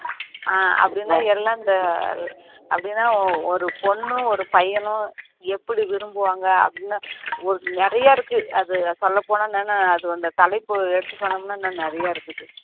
ஆஹ் அப்படின்னா எல்லாம் அந்த அப்படின்னா ஒரு பொண்ணும் ஒரு பையனும் எப்படி விரும்புவாங்க அப்படின்னு நிறைய இருக்கு அது சொல்லப்போனா என்ன அது அந்த தலைப்பு எடுத்து சொன்னோம்னா இன்னும் நிறைய இருக்கு